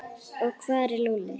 Og hvar er Lúlli?